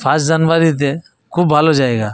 First January তে খুব ভালো জায়গা।